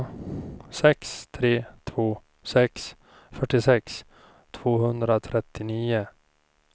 sex tre två sex fyrtiosex tvåhundratrettionio